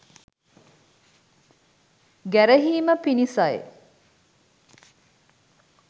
ගැරහීම පිණිසයි.